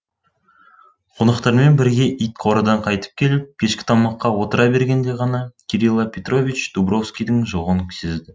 қонақтармен бірге ит қорадан қайтып келіп кешкі тамаққа отыра бергенде ғана кирила петрович дубровскийдің жоғын сезді